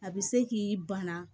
A bɛ se k'i bana